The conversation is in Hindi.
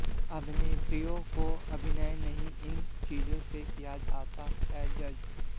अभिनेत्रियों को अभिनय नहीं इन चीजों से किया जाता है जज